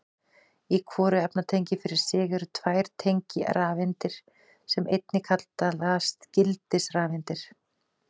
Í hvoru efnatengi fyrir sig eru tvær tengirafeindir sem einnig kallast gildisrafeindir.